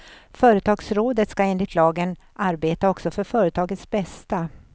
Företagsrådet ska enligt lagen arbeta också för företagets bästa.